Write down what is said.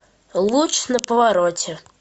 луч на повороте